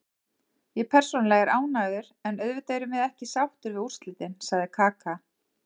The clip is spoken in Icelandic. Ég persónulega er ánægður, en auðvitað erum við ekki sáttir við úrslitin, sagði Kaka.